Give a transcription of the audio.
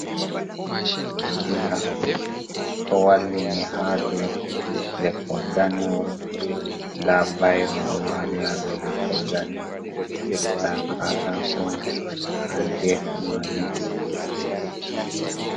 Jamdi diga ɗo wallini ha dou leppol danewol, nda bairo lo wali ha dou leppol danewol mai, nda katakowo on ha gefe majum.